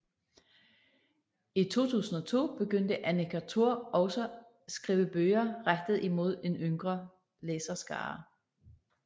I 2002 begyndte Annika Thor også skrive bøger rettet mod en yngre læserskare